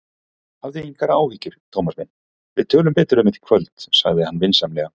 Hafðu engar áhyggjur, Thomas minn, við tölum betur um þetta í kvöld sagði hann vinsamlega.